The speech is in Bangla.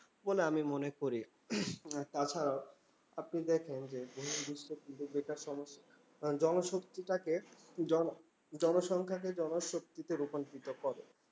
বলে আমি মনে করি। তাছাড়াও আপনি দেখেন যে জনশক্তিটাকে জনজনসংখ্যাকে জনশক্তিতে রূপান্তরিত করে।